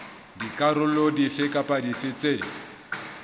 dikarolo dife kapa dife tse